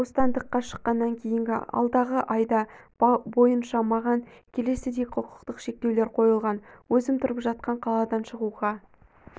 бостандыққа шыққаннан кейінгі алдағы айда бойынша маған келесідей құқықтық шектеулер қойылған өзім тұрып жатқан қаладан шығуға